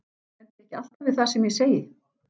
Stend ég ekki alltaf við það sem ég segi?